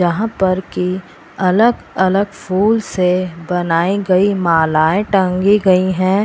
यहाँ पर की अलग-अलग फूल से बनाई गयी मालाये टंगी गयी है।